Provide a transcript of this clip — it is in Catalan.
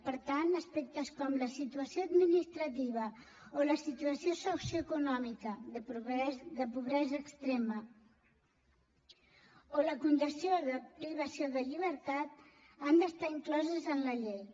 per tant aspectes com la situació administrativa o la situació socioeconòmica de pobresa extrema o la condició de privació de llibertat han d’estar incloses en la llei